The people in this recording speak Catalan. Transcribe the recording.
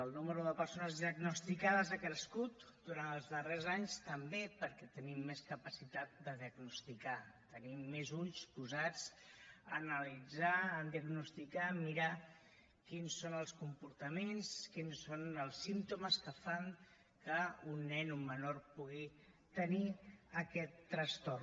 el nombre de persones diagnosticades ha crescut durant els darrers anys també perquè tenim més capacitat de diagnosticar tenim més ulls posats en analitzar en diagnosticar en mirar quins són els comportaments quins són els símptomes que fan que un nen un menor pugui tenir aquest trastorn